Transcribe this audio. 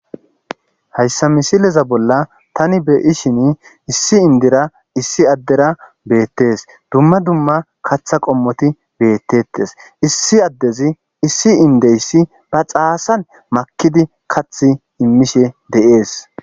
Haysa misileza bolla tan be'shin issi endira issi adera betes dumma dumma katha qommoti betetes issi adezi issi edeysi ba xasan makidi kathi imishe de'es